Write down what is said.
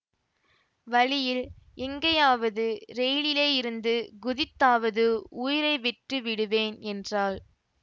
வழியில் எங்கேயாவது ரயிலிலேயிருந்து குதித்தாவது உயிரை விட்டு விடுவேன் என்றாள்